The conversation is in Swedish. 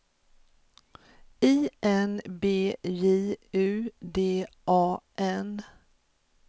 I N B J U D A N